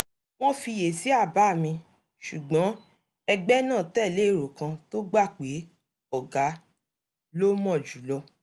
wọ́n fiyèsí àbá mi ṣùgbọ́n ẹgbẹ́ náà tẹ̀lé èrò kan tó gbà pé "ọ̀gá ló mọ̀ jùlọ"